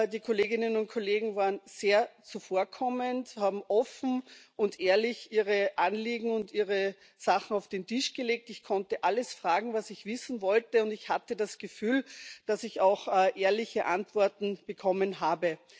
Die Kolleginnen und Kollegen waren sehr zuvorkommend, haben offen und ehrlich ihre Anliegen und ihre Sachen auf den Tisch gelegt, ich konnte alles fragen, was ich wissen wollte, und ich hatte das Gefühl, dass ich auch ehrliche Antworten bekommen habe.